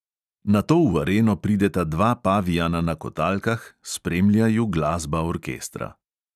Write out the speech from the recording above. Nato v areno prideta dva pavijana na kotalkah, spremlja ju glasba orkestra.